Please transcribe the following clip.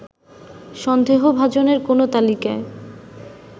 সন্দেহভাজনের কোন তালিকায়